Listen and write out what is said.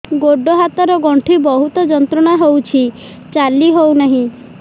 ଗୋଡ଼ ହାତ ର ଗଣ୍ଠି ବହୁତ ଯନ୍ତ୍ରଣା ହଉଛି ଚାଲି ହଉନାହିଁ